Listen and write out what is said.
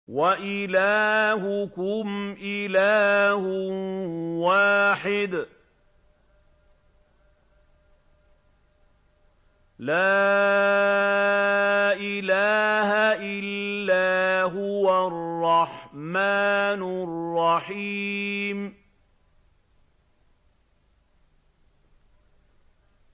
وَإِلَٰهُكُمْ إِلَٰهٌ وَاحِدٌ ۖ لَّا إِلَٰهَ إِلَّا هُوَ الرَّحْمَٰنُ الرَّحِيمُ